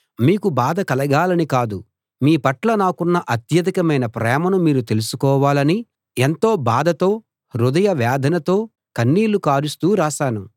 మీకు బాధ కలగాలని కాదు మీ పట్ల నాకున్న అత్యధికమైన ప్రేమను మీరు తెలుసుకోవాలని ఎంతో బాధతో హృదయ వేదనతో కన్నీళ్ళు కారుస్తూ రాశాను